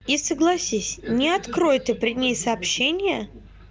и согласись не открой ты при ней сообщение